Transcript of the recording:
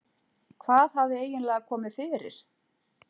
Hvað hafði eiginlega komið fyrir?